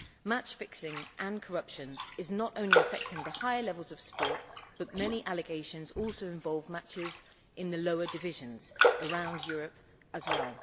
Match fixing and corruption is not only affecting the high levels of sport, but many allegations also involve matches in the lower divisions around Europe as well.